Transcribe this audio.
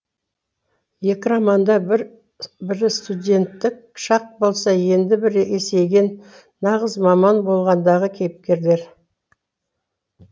екі романда бірі студенттік шақ болса енді бірі есейген нағыз маман болғандағы кейіпкерлер